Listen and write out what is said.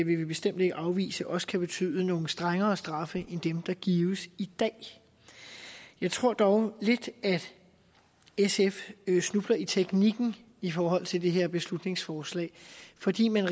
vil vi bestemt ikke afvise også kan betyde nogle strengere straffe end dem der gives i dag jeg tror dog lidt at sf snubler i teknikken i forhold til det her beslutningsforslag fordi man